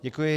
Děkuji.